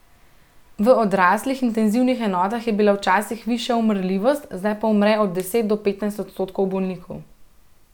V odraslih intenzivnih enotah je bila včasih višja umrljivost, zdaj pa umre od deset do petnajst odstotkov bolnikov.